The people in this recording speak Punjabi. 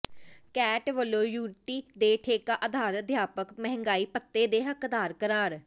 ਕੈਟ ਵਲੋਂ ਯੂਟੀ ਦੇ ਠੇਕਾ ਆਧਾਰਤ ਅਧਿਆਪਕ ਮਹਿੰਗਾਈ ਭੱਤੇ ਦੇ ਹੱਕਦਾਰ ਕਰਾਰ